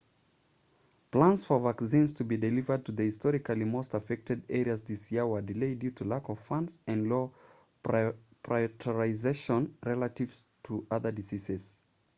plans for vaccines to be delivered to the historically most affected areas this year were delayed due to lack of funds and low prioritisation relative to other diseases